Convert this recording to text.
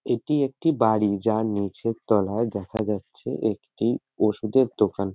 এটি একটি বাড়ি যার নিচের তলায় দেখা যাচ্ছে একটি ওষুধের দোকান।